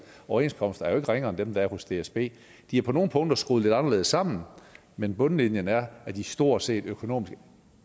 overenskomster jo ikke ringere end den der er hos dsb de er på nogle punkter skruet lidt anderledes sammen men bundlinjen er at de stort set økonomisk